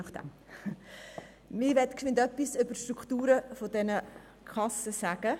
Ich möchte zuerst etwas über die Strukturen dieser Kassen sagen.